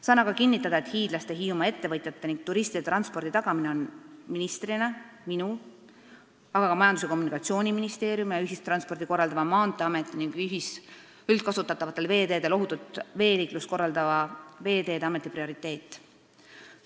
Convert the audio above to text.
Saan aga kinnitada, et hiidlaste ja Hiiumaa ettevõtjate ning turistide transpordi tagamine on ministrina minu, aga ka Majandus- ja Kommunikatsiooniministeeriumi ja ühistransporti korraldava Maanteeameti ning üldkasutatavatel veeteedel ohutut veeliiklust korraldava Veeteede Ameti prioriteet.